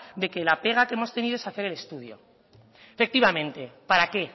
de que la pega que hemos tenido es hacer el estudio efectivamente para qué